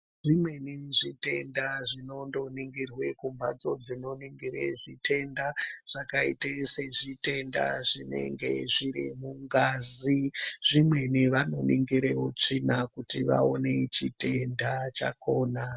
Dzimweni zvitenda zvinondoningirwa mumbatso dzinoningira zvitenda zvakaita sezvitenda zvinenge zviri mungazi zvimweni vanoningira utsvina kuti vaone chitenda chakona.